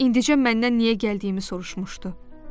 İndicə məndən niyə gəldiyimi soruşmuşdu.